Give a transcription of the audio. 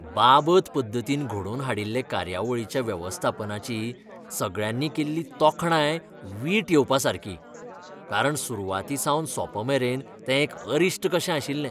बाबत पद्दतीन घडोवन हाडिल्ले कार्यावळीच्या वेवस्थापनाची सगळ्यांनी केल्ली तोखणाय वीट येवपासारकी, कारण सुरवातीसावन सोंपमेरेन तें एक अरिश्ट कशें आशिल्लें.